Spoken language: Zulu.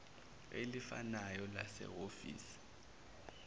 elifanayo lase hhovisi